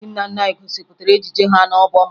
Ndị nna nna anyị gosipụtara ejije ha n'obom